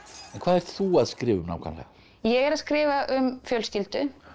þú að skrifa um nákvæmlega ég er að skrifa um fjölskyldu